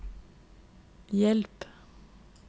hjelp